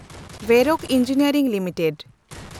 ᱣᱮᱨᱨᱚᱠ engineering limited